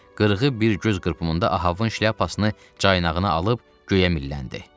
Qırğı bir göz qırpımında Ahabın şlyapasını caynağına alıb göyə milləndi.